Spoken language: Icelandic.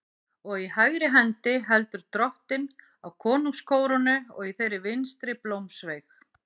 Og í hægri hendi heldur Drottinn á konungskórónu og í þeirri vinstri blómsveig.